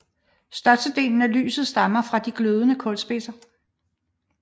Størstedelen af lyset stammer fra de glødende kulspidser